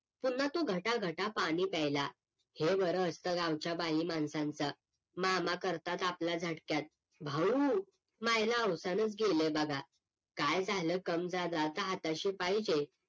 पुन्हा तो घट्टा घट्टा पाणी प्यायला हे बरं असत गावच्या बाई माणसंच मामा करतात आपला झटक्यात भाऊ मायला हौशेनच गेलं बघा काय झालं कम ज्यादा आता हाताशी पाहिजे